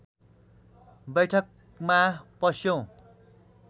बैठकमा पस्यौँ